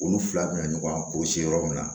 Olu fila bɛ na ɲɔgɔn ka kɔlɔsi yɔrɔ min na